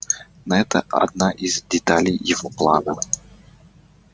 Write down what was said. но это одна из деталей его плана